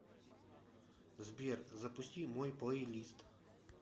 сбер запусти мой плейлист